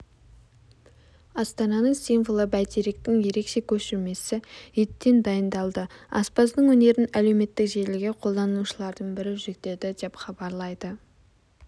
астананың символы бәйтеректің ерекше көшірмесі еттен дайындалды аспаздың өнерін әлеуметтік желіге қолданушылардың бірі жүктеді деп хабарлайды